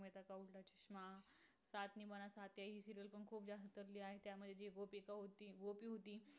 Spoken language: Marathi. आहेत. त्यामध्ये जी गोपिका होती. गोपी होती